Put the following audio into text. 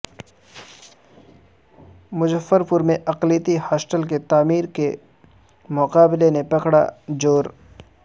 مظفرپور میں اقلیتی ہاسٹل کی تعمیرکے مطالبہ نے پکڑا زور